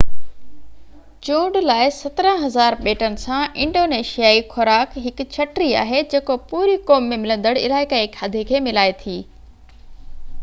چونڊ لاءِ 17000 ٻيٽن سان انڊونيشيائي خوراڪ هڪ ڇٽي آهي جيڪو پوري قوم ۾ ملندڙ علائقائي کاڌي کي ملائي ٿي